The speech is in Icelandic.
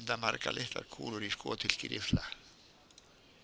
enda margar litlar kúlur í skothylki riffla.